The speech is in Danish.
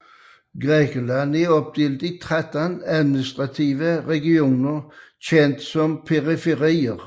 Grækenland er opdelt i 13 administrative regioner kendt som periferier